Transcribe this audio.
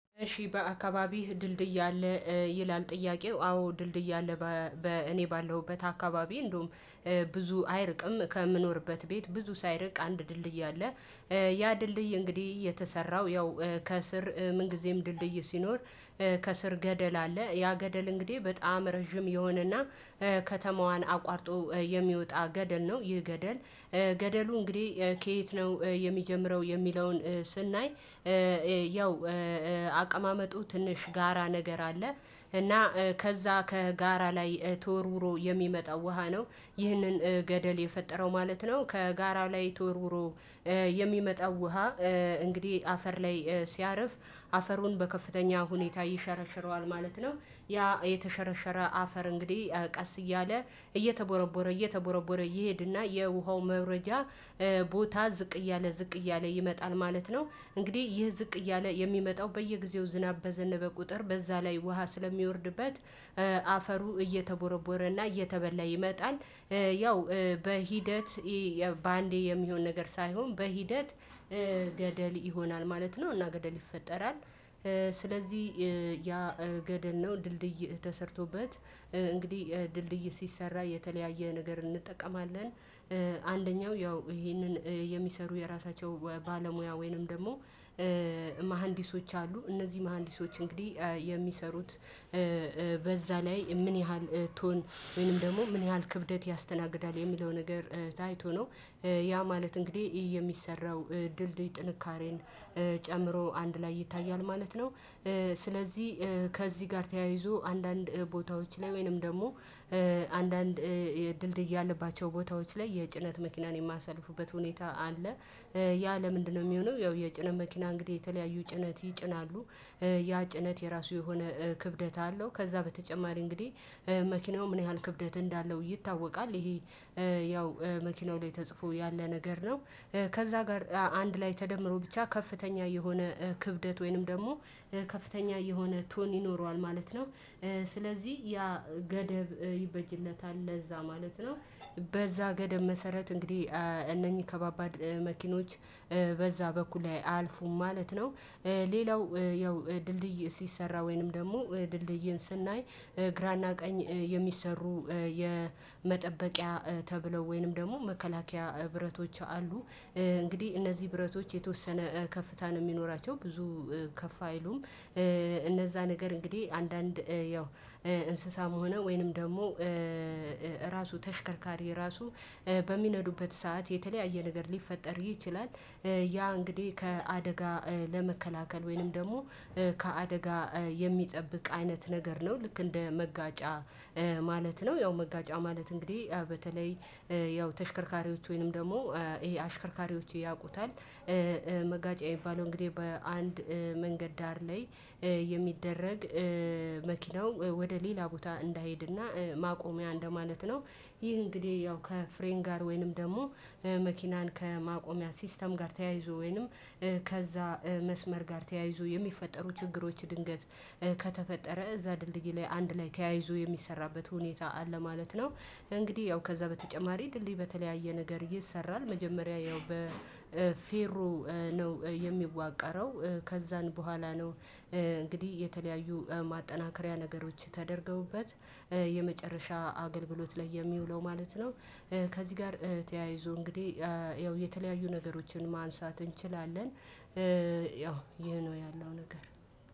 እሺ በአካባቢህ ድልድይ አለ ይላል ጥያቄው አዎ ድልድይ አለ? በእኔ ባለሁበት አካባቢ እንደውም ብዙ አይርቅም ከምኖርበት ቤት ብዙ ሳይርቅ አንድ ድልድይ አለ። ያ ድልድይ እንግዲህ የተሰራው ያው ከስር ምን ጊዜም ድልድይ ሲኖር ከስር ገደል አለ ያ ገደል እንግዲህ በጣም ረጅም የሆነና ከተማዋን አቋርጦ የሚወጣ ገደል ነው ይህ ገደል። ገደሉ እንግዲህ ከየት ነው የሚጀምረው የሚለውን ስናይ? ያው አቀማመጡ ትንሽ ጋራ ነገር አለ እና ከዛ ከጋራ ላይ ተወርውሮ የሚመጣው ውሃ ነው። ይሄንን ገደል የፈጠረው ማለት ነው። ከጋራ ላይ ተወርውሮ የሚመጣው ውሃ እንግዲህ አፈር ላይ ሲያርፍ አፈሩን በከፍተኛ ሁኔታ ይሸረሽረዋል ማለት ነው። ያ የተሸረሸረ አፈር እንግዲህ ቀስ እያለ እየተቦረቦረ እየተቦረቦረ ይሄድና የውሃው መውረጃ ቦታ ዝቅ እያለ ዝቅ እያለ ይመጣል ማለት ነው። እንግዲህ ይህ ዝቅ እያለ የሚመጣው በየጊዜው ዝናብ በዘነበ ቁጥር በዛ ላይ ውሃ ስለሚወርድበት አፈሩ እየተቦረቦረና እየተበላ ይመጣል። ያው በሂደት በአንዴ የሚሆን ነገር ሳይሆን በሂደት ገደል ይሆናል ማለት ነው እና ገደል ይፈጠራል። ስለዚህ ያ ገደል ነው ድልድይ ተሰርቶበት እንግዲህ ድልድይ ሲሰራ የተለያየ ነገር እንጠቀማለን። አንደኛው ያው ይሄንን የሚሰሩ የራሳቸው ባለሙያ ወይንም ደግሞ መሃንዲሶች አሉ። እነዚህ መሃንዲሶች እንግዲህ የሚሰሩት በዛ ላይ ምን ያህል ቶን ወይንም ደግሞ ምን ያህል ክብደት ያስተናግዳል የሚለው ነገር ታይቶ ነው። ያ ማለት እንግዲህ የሚሰራው ድልድይ ጥንካሬን ጨምሮ አንድ ላይ ይታያል ማለት ነው። ስለዚህ ከዚህ ጋር ተያይዞ አንዳንድ ቦታዎች ላይ ወይንም ደግሞ አንዳንድ የድልድይ ያለባቸው ቦታዎች ላይ የጭነት መኪናን የማያሳልፉበት ሁኔታ አለ። ያ ለምንድነው የሚሆነው? ያው የጭነት መኪና እንግዲህ የተለያዩ ጭነት ይጭናሉ። ያ ጭነት የሆነ ክብደት አለው። ከዛ በተጨማሪ እንግዲህ መኪናው ምን ያህል ክብደት እንዳለው ይታወቃል። ይሄ ያው መኪናው ላይ ተጽፎ ያለ ነገር ነው። ከዛ ጋር አንድ ላይ ተደምሮ ብቻ ከፍተኛ የሆነ ክብደት ወይንም ደግሞ ከፍተኛ የሆነ ቶን ይኖረዋል ማለት ነው። ስለዚህ ያ ገደብ ይበጅልታል ለዛ ማለት ነው። በዛ ገደብ መሰረት እንግዲህ እነኚህ ከባባድ መኪኖች በዛ በኩል አልፉም ማለት ነው። ሌላው ያው ድልድይ ሲሰራ ወይንም ደግሞ ድልድይን ስናይ ግራና ቀኝ የሚሰሩ የመጠበቂያ ተብለው ወይንም ደግሞ መከላከያ ብረቶች አሉ። እንግዲህ እነዚህ ብረቶች የተወሰነ ከፍታ ነው የሚኖራቸው ብዙ ከፍ አይሉም። እነዛ ነገር እንግዲህ አንዳንድ ያው እንስሳም ሆነ ወይንም ደግሞ ራሱ ተሽከርካሪ ራሱ በሚነዱበት ሰዓት የተለያየ ነገር ሊፈጠር ይችላል። ያ እንግዲህ ከአደጋ ለመከላከል ወይንም ደግሞ ከአደጋ የሚጠብቅ አይነት ነገር ነው። ልክ እንደ መጋጫ ማለት ነው። ያው መጋጫ ማለት እንግዲህ በተለይ ያው ተሽከርካሪዎች ወይንም ደግሞ ይሄ አሽከርካሪዎች ያውቁታል። መጋጫ የሚባለው እንግዲህ በአንድ መንገድ ዳር ላይ የሚደረግ መኪናው ወደ ሌላ ቦታ እንዳይሄድና ማቆሚያ እንደማለት ነው። ይህ እንግዲህ ያው ከፍሬን ጋር ወይንም ደግሞ መኪናን ከማቆሚያ ሲስተም ጋር ተያይዞ ወይንም ከዛ መስመር ጋር ተያይዞ የሚፈጠሩ ችግሮች ድንገት ከተፈጠረ እዛ ድልድይ ላይ አንድ ላይ ተያይዞ የሚሰራበት ሁኔታ አለ ማለት ነው። እንግዲህ ያው ከዛ በተጨማሪ ድልድይ በተለያየ ነገር ይሰራል መጀመሪያ ያው በፌሮ ነው የሚዋቀረው። ከዛን በኋላ ነው። እንግዲህ የተለያዩ ማጠናከሪያ ነገሮች ተደርገውበት የመጨረሻ አገልግሎት ላይ የሚውለው ማለት ነው። ከዚህ ጋር ተያይዞ እንግዲህ ያው የተለያዩ ነገሮችን ማንሳት እንችላለን። ያው ይሄ ነው ያለው ነገር።